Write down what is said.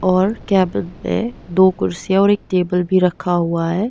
और कैबिन में दो कुर्सियां और एक टेबल भी रखा हुआ है।